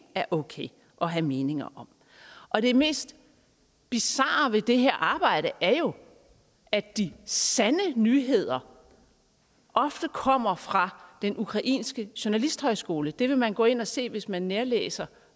er okay at have meninger om og det mest bizarre ved det her arbejde er jo at de sande nyheder ofte kommer fra den ukrainske journalisthøjskole det kan man gå ind og se hvis man nærlæser